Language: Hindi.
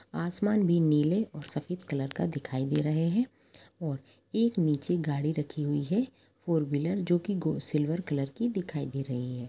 आसमान भी नीले और सफ़ेद कलर का दिखाई दे रहे है और एक नीचे गाड़ी रखी हुई है फॉर व्हीलर जो की सिल्वर कॉलर की दिखाई दे रही है।